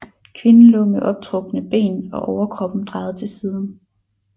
Kvinden lå med optrukne ben og overkroppen drejet til siden